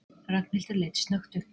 Ragnhildur leit snöggt upp.